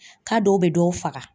K'a dɔw bɛ dɔw faga!